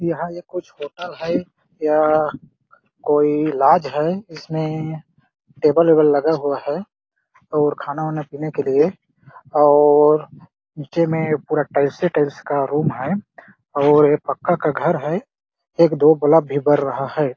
यहाँ ये कुछ होटल है या कोई लॉज है इसमें टेबल -वेबल लगा हुआ है और खाना-वाना पीने के लिए और नीचे में पूरा टाइल्स ही टाइल्स का रूम है और ये पक्का का घर है एक -दो बल्ब भी बर रहा हैं ।